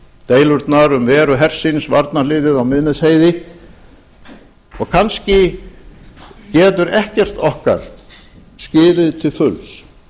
deilurnar um veru hersins varnarliðið á miðnesheiði og kannski getur ekkert okkar skilið til fulls